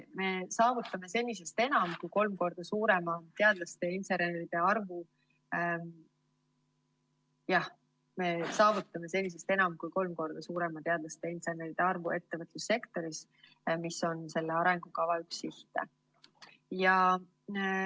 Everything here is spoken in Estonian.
Me saavutame senisest enam kui kolm korda suurema teadlaste ja inseneride arvu ettevõtlussektoris, mis on selle arengukava üks sihte.